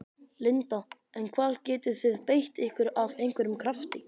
Linda: En hvar getið þið beitt ykkur af einhverjum krafti?